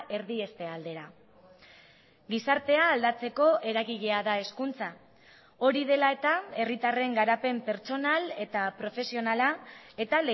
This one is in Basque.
erdieste aldera gizartea aldatzeko eragilea da hezkuntza hori dela eta herritarren garapen pertsonal eta profesionala eta